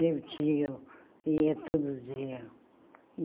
Meu tio ia todo dia.